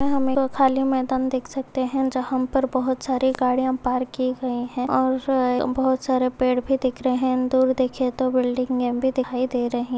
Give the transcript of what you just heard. हमलोग खाली मैदान देख सकते हैं जहाँ हम पर बहुत सारे गाड़ियां पार्क की गयी हैं और-अ बहुत सारा पेड़ भी दिख रहे हैं। दूर देखे तो बिल्डिंगे भी दिखाई दे रहे---